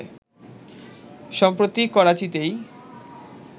সম্প্রতি করাচিতেই